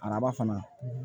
Araba fana